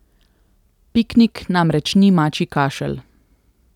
Piknik namreč ni mačji kašelj.